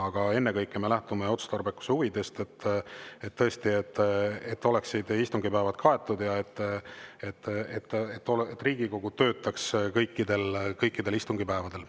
Aga ennekõike me lähtume otstarbekuse huvidest, et istungipäevad oleksid kaetud ja et Riigikogu töötaks kõikidel istungipäevadel.